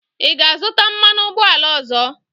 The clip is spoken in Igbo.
Ị ga-azụta mmanụ ụgbọala ọzọ?